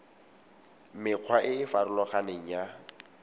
mekgwa e e farologaneng ya